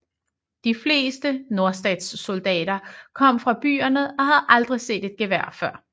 De fleste nordstatssoldater kom fra byerne og havde aldrig set et gevær før